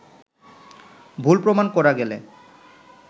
ভুল প্রমাণ করা গেলে